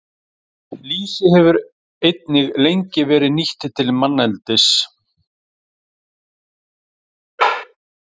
Lýsi hefur einnig lengi verið nýtt til manneldis.